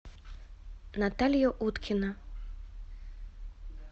наталья уткина